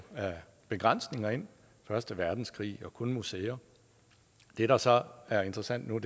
begrænsninger ind første verdenskrig og kun museer det der så er interessant nu er